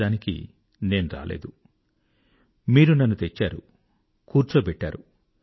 actual నేను రాలేదు మీరు నన్ను తెచ్చారు కూర్చోబెట్టారు